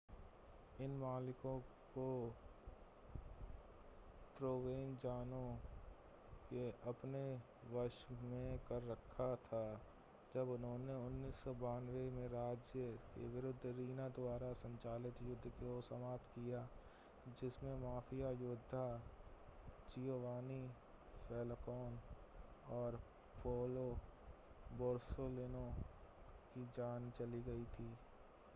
इन मालिकों को प्रोवेनज़ानो ने अपने वश में कर रखा था जब उन्होंने 1992 में राज्य के विरुद्ध रीना-द्वारा संचालित युद्ध को समाप्त किया जिसमें माफिया योद्धा जियोवानी फैल्कोन और पाओलो बोरसेलिनो की जान चली गई थी